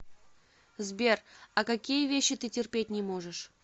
сбер а какие вещи ты терпеть не можешь